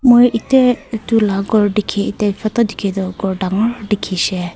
moi ete etu laga gour dekhi te chota dekhi toh gour dagur dekhi se.